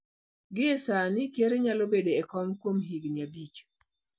Gie sani, ker nyalo bedo e kom kuom higini abich.